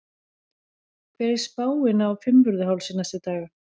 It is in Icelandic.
hver er spáin á fimmvörðuhálsi næstu daga